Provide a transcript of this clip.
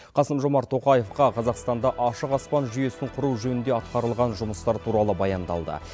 қасым жомарт тоқаевқа қазақстанда ашық аспан жүйесін құру жөнінде атқарылған жұмыстар туралы баяндалды